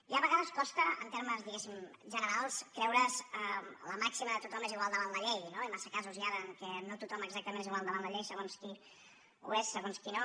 ja a vegades costa en termes diguéssim generals creure’s la màxima de tothom és igual davant la llei no massa casos hi ha en què no tothom exactament és igual davant la llei segons qui ho és segons qui no